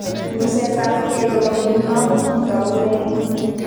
Ng'usetabgei nebo nguno ko kitou nee?